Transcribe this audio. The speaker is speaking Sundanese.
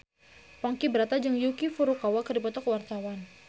Ponky Brata jeung Yuki Furukawa keur dipoto ku wartawan